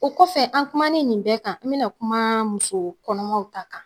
O kɔfɛ an kumanen nin bɛ kan n bena kuma muso kɔnɔmaw ta kan